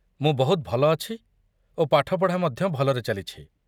ମୁଁ ବହୁତ ଭଲ ଅଛି ଓ ପାଠପଢ଼ା ମଧ୍ୟ ଭଲରେ ଚାଲିଛି।